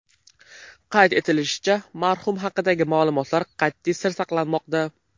Qayd etilishicha, marhum haqidagi ma’lumotlar qat’iy sir saqlanmoqda.